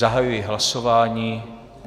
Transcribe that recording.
Zahajuji hlasování.